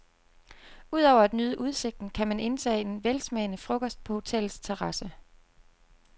Ud over at nyde udsigten kan man indtage en velsmagende frokost på hotellets terrasse.